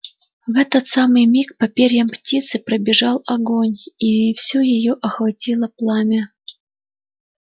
в этот самый миг по перьям птицы пробежал огонь и всю её охватило пламя